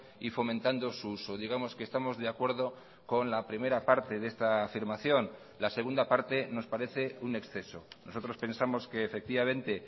y fomentando su uso digamos que estamos de acuerdo con la primera parte de esta afirmación la segunda parte nos parece un exceso nosotros pensamos que efectivamente